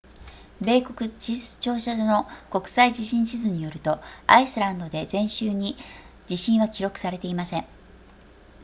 米国地質調査所の国際地震地図によるとアイスランドで前週に地震は記録されていません